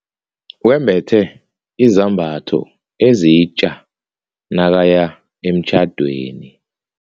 Wembethe izambatho ezitja nakaya emtjhadweni.